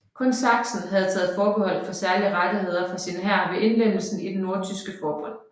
Kun Sachsen havde taget forbehold om særlige rettigheder for sin hær ved indlemmelsen i det Nordtyske forbund